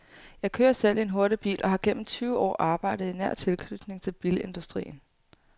Jeg kører selv i en hurtig bil og har gennem tyve år arbejdet i nær tilknytning til bilindustrien.